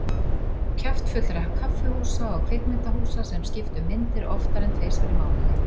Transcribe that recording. Kjaftfullra kaffihúsa og kvikmyndahúsa sem skiptu um myndir oftar en tvisvar í mánuði.